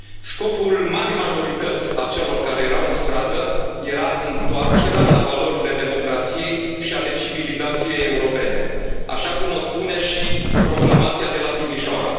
Scopul marii majorități a celor care erau în stradă era întoarcerea la valorile democrației și ale civilizației europene, așa cum o spune și Proclamația de la Timișoara.